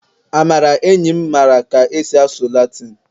amara enyim mara ka esi asụ latịn